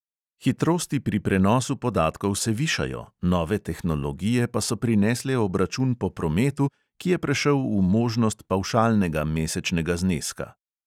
Hitrosti pri prenosu podatkov se višajo, nove tehnologije pa so prinesle obračun po prometu, ki je prešel v možnost pavšalnega mesečnega zneska.